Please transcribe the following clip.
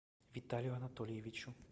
виталию анатольевичу